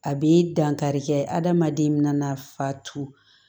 A bɛ dankari kɛ adamaden min na a fatu